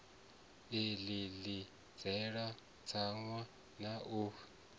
ḽi ḽidzela tsaṅwa na u